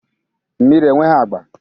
Mmiri enweghị agba